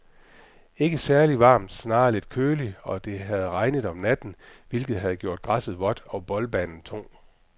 Ikke særligt varmt, snarere lidt køligt, og det havde regnet om natten, hvilket havde gjort græsset vådt og boldbanen tung.